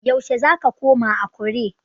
Yaushe zaka koma Akure?